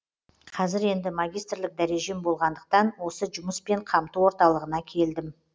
қазір енді магистрлік дәрежем болғандықтан осы жұмыспен қамту орталығына келдім